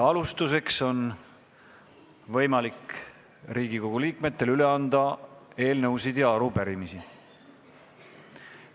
Alustuseks on Riigikogu liikmetel võimalik üle anda eelnõusid ja arupärimisi.